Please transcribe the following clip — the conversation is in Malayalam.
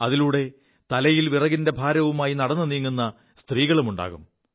അതിലൂടെ തലയിൽ വിറകിന്റെ ഭാരവുമായി നടു നീങ്ങു സ്ത്രീകളുമുണ്ടാകും